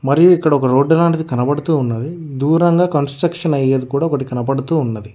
మరి ఇక్కడ ఒక రోడ్డు లాంటిది కనబడుతూ ఉన్నది దూరంగా కన్స్ట్రక్షన్ అయ్యేది కూడా ఒకటి కనపడుతూ ఉన్నది.